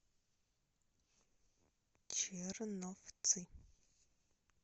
черновцы